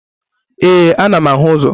Ee, anam ahu uzo.